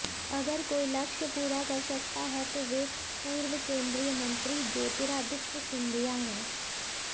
अगर कोई लक्ष्य पूरा कर सकता है तो वे पूर्व केंद्रीय मंत्री ज्योतिरादित्य सिंधिया हैं